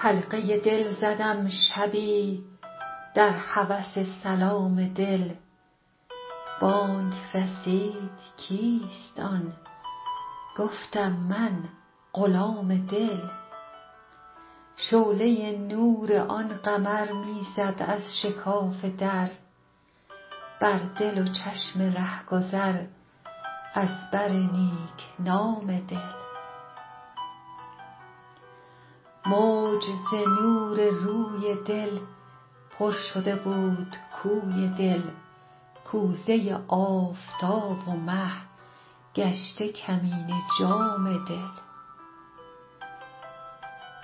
حلقه دل زدم شبی در هوس سلام دل بانگ رسید کیست آن گفتم من غلام دل شعله نور آن قمر می زد از شکاف در بر دل و چشم رهگذر از بر نیک نام دل موج ز نور روی دل پر شده بود کوی دل کوزه آفتاب و مه گشته کمینه جام دل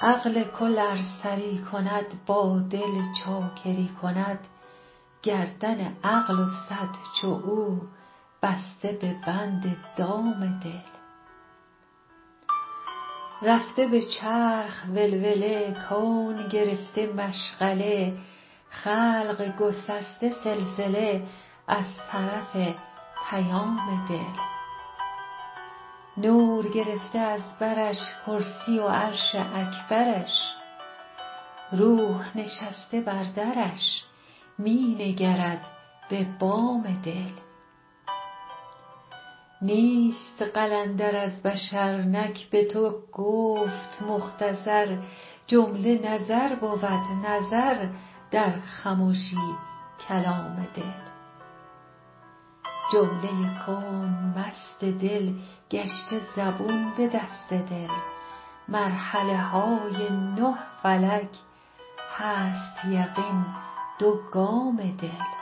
عقل کل ار سری کند با دل چاکری کند گردن عقل و صد چو او بسته به بند دام دل رفته به چرخ ولوله کون گرفته مشغله خلق گسسته سلسله از طرف پیام دل نور گرفته از برش کرسی و عرش اکبرش روح نشسته بر درش می نگرد به بام دل نیست قلندر از بشر نک به تو گفت مختصر جمله نظر بود نظر در خمشی کلام دل جمله کون مست دل گشته زبون به دست دل مرحله های نه فلک هست یقین دو گام دل